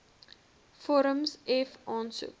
vorm f aansoek